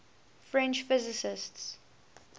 french physicists